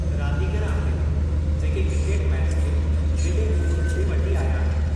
रांदीगर आहिनि जेके क्रिकेट मैच खे हेॾे ओजु ते वठी आया आहिनि।